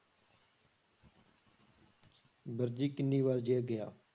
ਵਰਜੀ ਕਿੰਨੀ ਵਾਰ ਜੇਲ੍ਹ ਗਿਆ?